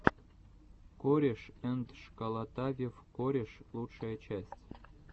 корешэндшколотавев кореш лучшая часть